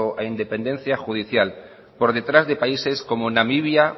a independencia judicial por detrás de países con namibia